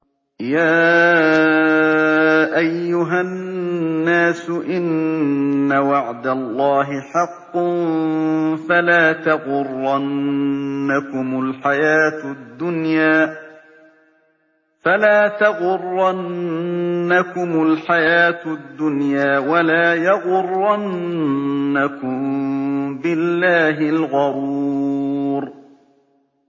يَا أَيُّهَا النَّاسُ إِنَّ وَعْدَ اللَّهِ حَقٌّ ۖ فَلَا تَغُرَّنَّكُمُ الْحَيَاةُ الدُّنْيَا ۖ وَلَا يَغُرَّنَّكُم بِاللَّهِ الْغَرُورُ